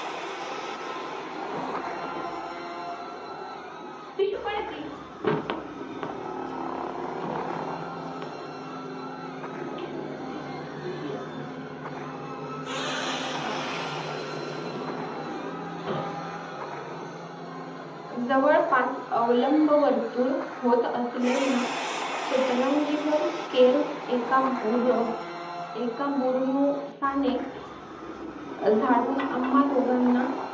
जवळपास अवलंवर्तुळ होत असलेल्या सतरंगीवर केर एका बुरणु एका बर्नूशाणे झाडून आम्हा दोघांना